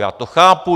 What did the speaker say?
Já to chápu.